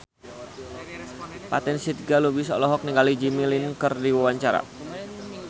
Fatin Shidqia Lubis olohok ningali Jimmy Lin keur diwawancara